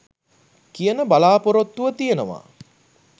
කියන බලා‍පොරොත්තුව තියෙනවා.